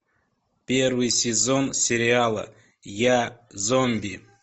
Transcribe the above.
первый сезон сериала я зомби